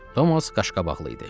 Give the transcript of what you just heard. Tomas qaşqabaqlı idi.